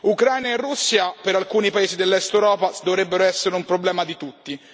Ucraina e Russia per alcuni paesi dell'Est Europa dovrebbero essere un problema di tutti.